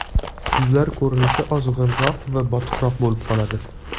Yuzlar ko‘rinishi ozg‘inroq va botiqroq bo‘lib qoladi.